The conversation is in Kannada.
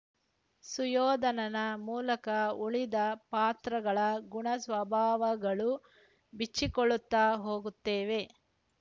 ಸುಯೋಧನನ ಮೂಲಕ ಉಳಿದ ಪಾತ್ರಗಳ ಗುಣಸ್ವಭಾವಗಳು ಬಿಚ್ಚಿಕೊಳ್ಳುತ್ತ ಹೋಗುತ್ತವೆ